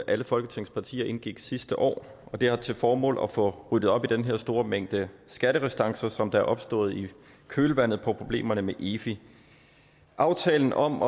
alle folketingets partier indgik sidste år og det har til formål at få ryddet op i den her store mængde skatterestancer som der er opstået i kølvandet på problemerne med efi aftalen om